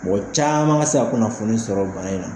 Mɔgɔ caman ka se ka kunnafoni sɔrɔ bana in na.